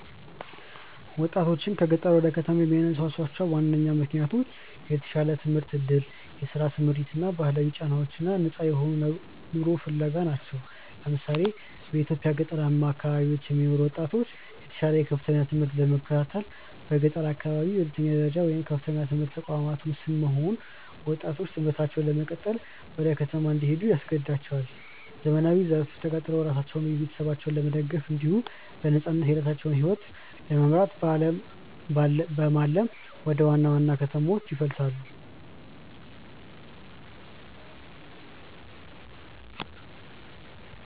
ወጣቶችን ከገጠር ወደ ከተማ የሚያነሳሷቸው ዋነኛ ምክንያቶች የተሻለ የትምህርት ዕድል፣ የሥራ ስምሪት እና ከባህላዊ ጫናዎች ነፃ የሆነ ኑሮ ፍለጋ ናቸው። ለምሳሌ፣ በኢትዮጵያ ገጠራማ አካባቢዎች የሚኖሩ ወጣቶች የተሻለ የከፍተኛ ትምህርት ለመከታተል በገጠር አካባቢዎች የሁለተኛ ደረጃ ወይም የከፍተኛ ትምህርት ተቋማት ውስን መሆን ወጣቶች ትምህርታቸውን ለመቀጠል ወደ ከተማ እንዲሄዱ ያስገድዳቸዋል። ዘመናዊው ዘርፍ ተቀጥረው ራሳቸውንና ቤተሰባቸውን ለመደገፍ እንዲሁም በነፃነት የራሳቸውን ሕይወት ለመምራት በማለም ወደ ዋና ዋና ከተሞች ይፈልሳሉ።